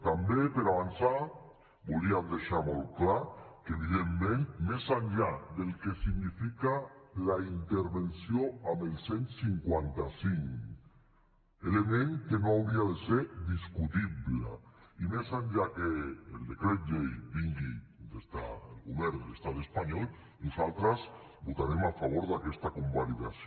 també per avançar volíem deixar molt clar que evidentment més enllà del que significa la intervenció amb el cent i cinquanta cinc element que no hauria de ser discutible i més enllà que el decret llei vingui des del govern de l’estat espanyol nosaltres votarem a favor d’aquesta convalidació